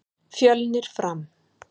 Fjölnir- Fram